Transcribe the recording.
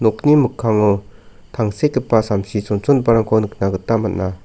nokni mikkango tangsekgipa samsi chonchongiparangko nikna gita man·a.